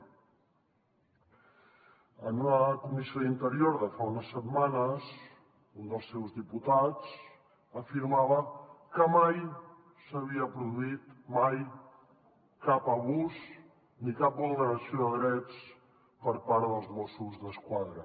en una comissió d’interior de fa unes setmanes un dels seus diputats afirmava que mai s’havia produït mai cap abús ni cap vulneració de drets per part dels mossos d’esquadra